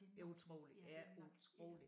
Det utroligt ja utroligt